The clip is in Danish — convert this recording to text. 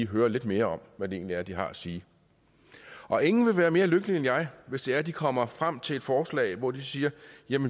høre lidt mere om hvad det egentlig er de har at sige og ingen vil være mere lykkelig end jeg hvis det er at de kommer frem til forslag hvor de siger